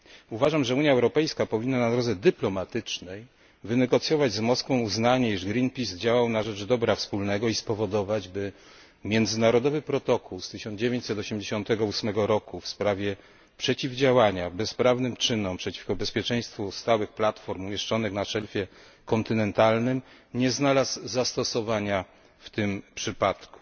Uważam, że Unia Europejska powinna na drodze dyplomatycznej wynegocjować z Moskwą uznanie, że Greenpeace działał na rzecz dobra wspólnego, i spowodować, by międzynarodowy protokół z 1988 roku w sprawie przeciwdziałania bezprawnym czynom przeciwko bezpieczeństwu stałych platform umieszczonych na szelfie kontynentalnym nie znalazł zastosowania w tym przypadku.